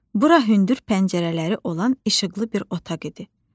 Bura hündür pəncərələri olan işıqlı bir otaq idi.